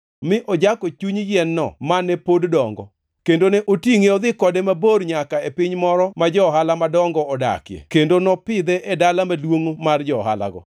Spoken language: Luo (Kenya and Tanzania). mi ojako chuny yien-no mane pod dongo, kendo ne otingʼe odhi kode mabor nyaka e piny moro ma jo-ohala madongo, odakie kendo nopidhe e dala maduongʼ mar jo-ohalago.